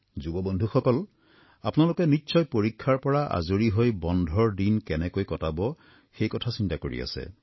যুৱ বন্ধুসকল আপোনালোকে নিশ্চয় পৰীক্ষাৰ পৰা আজৰি পাই বন্ধৰ দিন কেনেকৈ কটাব সেই কথা চিন্তা কৰি আছে